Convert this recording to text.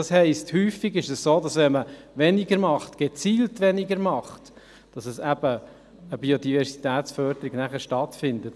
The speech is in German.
Das heisst: Häufig ist es so, dass wenn man gezielt weniger macht, nachher eben eine Biodiversitätsförderung stattfindet.